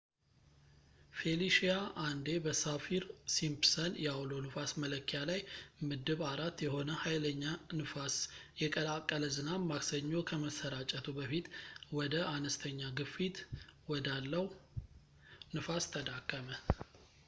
ፌሊሺያ አንዴ በሳፊር-ሲምፕሰን የአውሎ ንፋስ መለኪያ ላይ ምድብ 4 የሆነ ሀይለኛ ንፋስ የቀላቀለ ዝናብ ማክሰኞ ከመሠራጨቱ በፊት ወደ አንስተኛ ግፊት ወዳለው ንፋስ ተዳከመ